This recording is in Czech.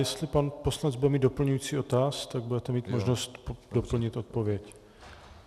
Jestli pan poslanec bude mít doplňující dotaz, tak budete mít možnost doplnit odpověď.